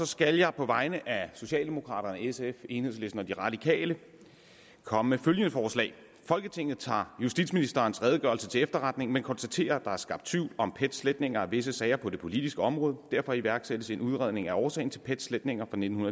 skal jeg på vegne af socialdemokraterne sf enhedslisten og de radikale komme med følgende forslag til folketinget tager justitsministerens redegørelse til efterretning men konstaterer at der er skabt tvivl om pets sletninger af visse sager på det politiske område derfor iværksættes en udredning af årsagen til pets sletninger fra nitten